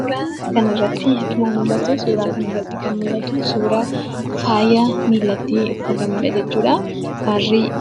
Suuraa kana irratti akkuma mul'atu, suuraa kana irratti kan mul'atu suuraa faayaa miila irratti uffatamuudha jechuudha.